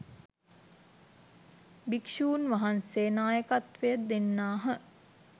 භික්‍ෂුන් වහන්සේ නායකත්වය දෙන්නාහ